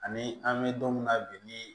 Ani an bɛ don min na bi ni